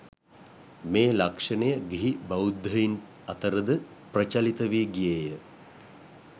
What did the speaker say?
මේ ලක්ෂණය ගිහි බෞද්ධයින් අතර ද ප්‍රචලිත වී ගියේය.